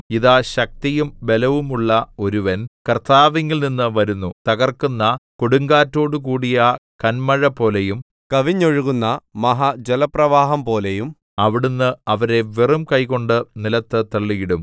ഇതാ ശക്തിയും ബലവുമുള്ള ഒരുവൻ കർത്താവിങ്കൽനിന്നു വരുന്നു തകർക്കുന്ന കൊടുങ്കാറ്റോടുകൂടിയ കന്മഴപോലെയും കവിഞ്ഞൊഴുകുന്ന മഹാ ജലപ്രവാഹം പോലെയും അവിടുന്ന് അവരെ വെറുംകൈകൊണ്ടു നിലത്തു തള്ളിയിടും